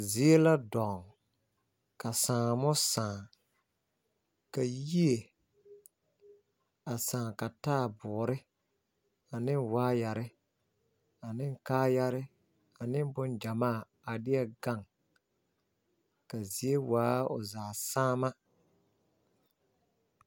Zie la dɔŋ ka saane saŋ. Yie saŋɛɛ la ka taaboore, waayɛre , kaayaa ane boma gyɛmaa gaŋ kyɛ ka a zie zaa saŋ.